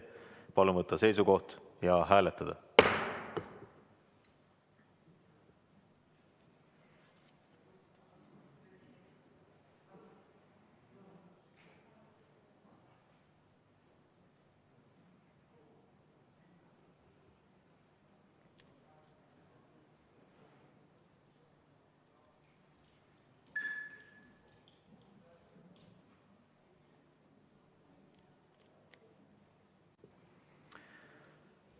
Palun võtta seisukoht ja hääletada!